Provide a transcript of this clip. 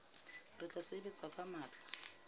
re tla sebetsa ka matla